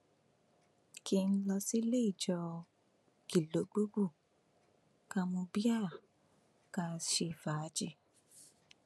kí n lọ sílé ìjọ kìlógbòòbù ká mú bíà ká ṣe fàájì